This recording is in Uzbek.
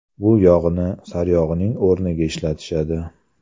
Bu yog‘ni saryog‘ning o‘rniga ishlatishadi.